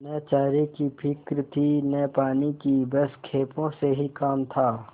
न चारे की फिक्र थी न पानी की बस खेपों से काम था